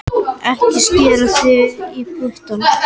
Ekki skera þig í puttana